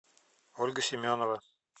ольга семенова